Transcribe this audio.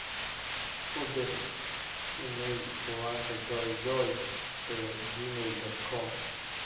u dir iimayl ciwaanka joejoe ee gmail dot com